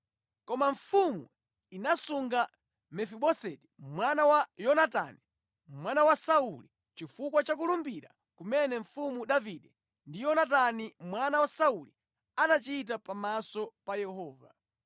Koma mfumu inasunga Mefiboseti mwana wa Yonatani, mwana wa Sauli, chifukwa cha kulumbira kumene mfumu Davide ndi Yonatani mwana wa Sauli anachita pamaso pa Yehova.